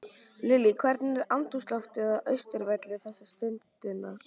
Lillý, hvernig er andrúmsloftið á Austurvelli þessa stundina?